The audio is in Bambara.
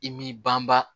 I m'i banba